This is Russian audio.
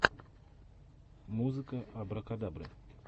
музыка абракадабры